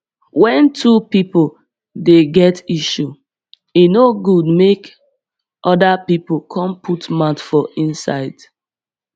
wen two pipo dey get issue e no dey good make oda pipo come put mouth for inside